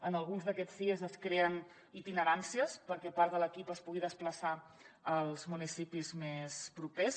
en alguns d’aquests sies es creen itineràncies perquè part de l’equip es pugui desplaçar als municipis més propers